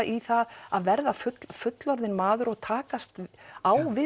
í það að verða fullorðinn maður og takast á við